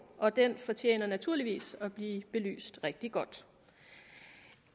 og det fortjener naturligvis at blive belyst rigtig godt